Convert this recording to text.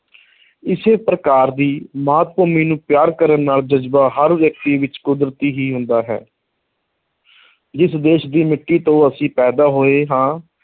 ਇਸੇ ਪ੍ਰਕਾਰ ਦੀ ਮਾਤ-ਭੂਮੀ ਨੂੰ ਪਿਆਰ ਕਰਨ ਦਾ ਜਜ਼ਬਾ ਹਰ ਵਿਅਕਤੀ ਵਿੱਚ ਕੁਦਰਤੀ ਹੀ ਹੁੰਦਾ ਹੈ ਜਿਸ ਦੇਸ਼ ਦੀ ਮਿੱਟੀ ਤੋਂ ਅਸੀਂ ਪੈਦਾ ਹੋਏ ਹਾਂ,